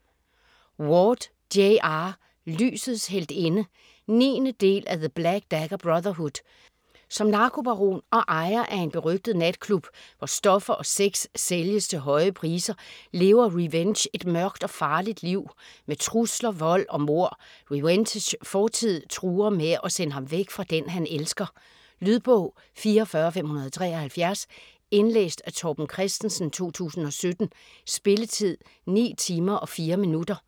Ward, J. R.: Lysets heltinde 9. del af The black dagger brotherhood. Som narkobaron og ejer af en berygtet natklub hvor stoffer og sex sælges til høje priser, lever Rehvenge et mørkt og farligt liv med trusler, vold og mord. Rehvenges fortid truer med at sende ham væk fra den han elsker. Lydbog 44573 Indlæst af Torben Christensen, 2017. Spilletid: 9 timer, 4 minutter.